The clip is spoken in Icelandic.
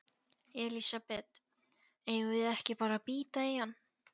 Elísabet: Eigum við ekki bara að bíta í hann?